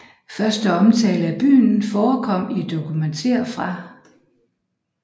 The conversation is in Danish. Første omtale af byen forekom i dokumenter fra